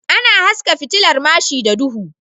Ana haska fitilar mashi da duhu